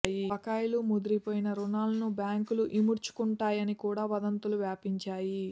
బకాయిలు ముదిరిపోయిన రుణాలను బ్యాంకులు ఇముడ్చు కుంటాయని కూడా వదంతులు వ్యాపించాయి